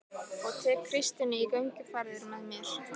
Og tek Kristínu í gönguferðir með mér